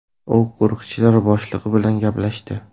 U qo‘riqchilar boshlig‘i bilan gaplashdi.